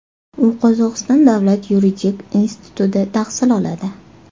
U Qozog‘iston davlat yuridik institutida tahsil oladi.